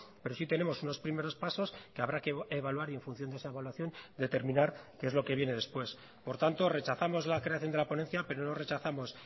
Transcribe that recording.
pero sí tenemos unos primeros pasos que habrá que evaluar y en función de esa evaluación determinar qué es lo que viene después por tanto rechazamos la creación de la ponencia pero no rechazamos